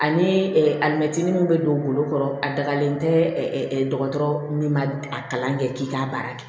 Ani alimɛti min be don golo kɔrɔ a dagalen tɛ dɔgɔtɔrɔ min ma a kalan kɛ k'i k'a baara kɛ